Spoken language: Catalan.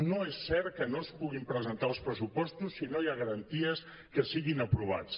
no és cert que no es puguin presentar els pressupostos si no hi ha garanties que siguin aprovats